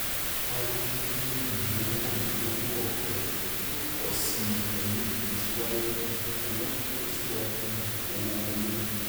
a retí pé um owó ìlówó ọfẹ yóò pọ sí i pẹlú ìtẹsíwájú um owó ìtẹsíwájú um owó wọlé